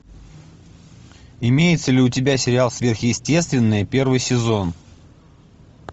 имеется ли у тебя сериал сверхъестественное первый сезон